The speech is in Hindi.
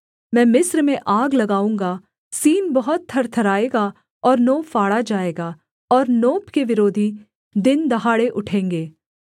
मैं मिस्र में आग लगाऊँगा सीन बहुत थरथराएगा और नो फाड़ा जाएगा और नोप के विरोधी दिन दहाड़े उठेंगे